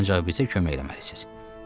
Ancaq bizə kömək eləməlisiz.